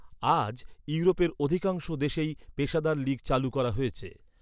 আজ, ইউরোপের অধিকাংশ দেশেই পেশাদার লীগ চালু করা হয়েছে।